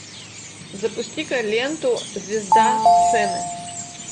запусти ка ленту звезда сцены